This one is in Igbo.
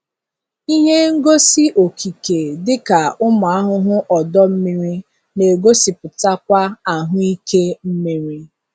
Ihe ngosi okike dịka ụmụ ahụhụ ọdọ mmiri na-egosipụtakwa ahụike mmiri.